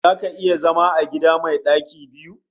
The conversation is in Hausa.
Zaka iya zama a gida mai ɗaki biyu?